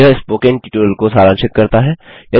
यह spoken tutorial को सारांशित करता है